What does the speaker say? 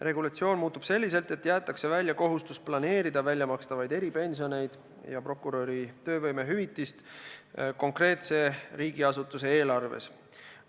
Regulatsioon muutub selliselt, et jäetakse välja kohustus planeerida väljamakstavaid eripensioneid ja prokuröri töövõimehüvitist konkreetse riigiasutuse eelarves.